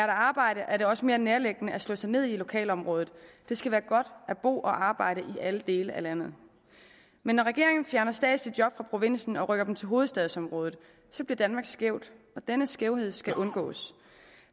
arbejde er det også mere nærliggende at slå sig ned i et lokalområde det skal være godt at bo og arbejde i alle dele af landet men når regeringen fjerner statslige job fra provinsen og rykker dem til hovedstadsområdet bliver danmark skævt og denne skævhed skal undgås